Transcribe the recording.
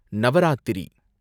Navaratri